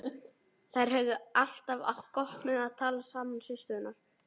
Þær höfðu alltaf átt gott með að tala saman systurnar.